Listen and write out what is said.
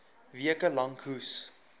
weke lank hoes